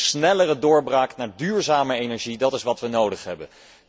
Een snellere doorbraak naar duurzame energie, dat is wat we nodig hebben.